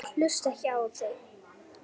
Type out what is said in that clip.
Ég hlusta ekki á þig.